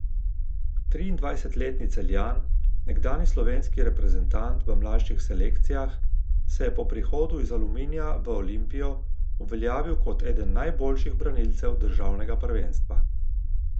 Triindvajsetletni Celjan, nekdanji slovenski reprezentant v mlajših selekcijah, se je po prihodu iz Aluminija v Olimpijo uveljavil kot eden najboljših branilcev državnega prvenstva.